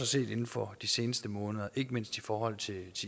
set inden for de seneste måneder ikke mindst i forhold til